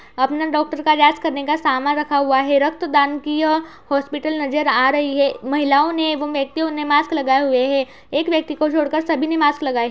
अपने डॉक्टर काजांच करने का सामान रखा हुआ है। रक्त दान की यह हॉस्पिटल नज़र आ रही है। महिलाओ ने एवं व्यक्तियों ने मास्क लगाया हुए है | एक व्यक्ति को छोड़ कर सभी ने मास्क लगाए हैं ।